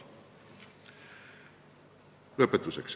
Lõpetuseks.